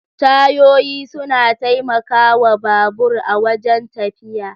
Tayoyi suna taimaka wa babur a wajen tafiya